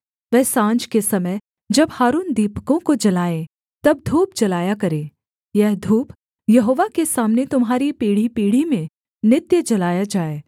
तब साँझ के समय जब हारून दीपकों को जलाए तब धूप जलाया करे यह धूप यहोवा के सामने तुम्हारी पीढ़ीपीढ़ी में नित्य जलाया जाए